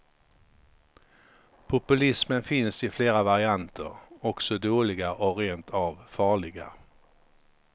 Populismen finns i flera varianter, också dåliga och rent av farliga.